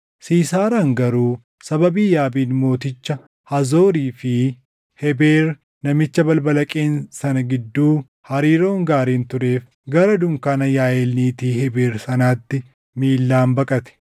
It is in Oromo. Siisaaraan garuu sababii Yaabiin mooticha Haazoorii fi Hebeer namicha balbala Qeen sana gidduu hariiroon gaariin tureef gara dunkaana Yaaʼeel niitii Hebeer sanaatti miillaan baqate.